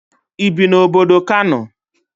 Ibi na obodo Kano?